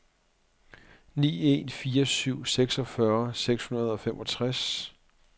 ni en fire syv seksogfyrre seks hundrede og femogtres